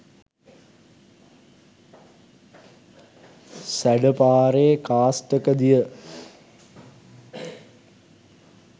සැඬ පාරේ කාස්ටක දිය